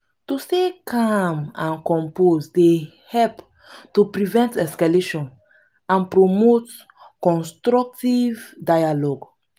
to stay calm and composed dey help to prevent escalation and promote constructive dialogue.